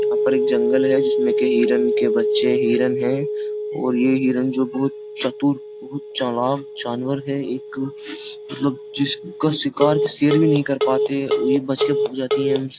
यहाँ पर एक जंगल है जिसमें के हिरण के बच्चे हिरण है और ये हिरण जो बहुत चतुर बहुत चालाक जानवर है एक मतलब जिसका शिकार के शेर भी नहीं कर पाते वही बच के भग जाती है हम --